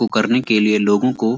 को करने के लिए लोगों को --